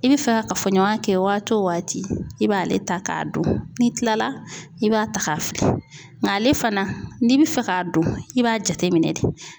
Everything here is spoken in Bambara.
I bɛ fɛ ka kafɔɲɔgɔnya kɛ waati o waati i b'ale ta k'a don, n'i kilala i b'a ta k'a fili nga ale fana n'i bɛ fɛ k'a don i b'a jateminɛ de.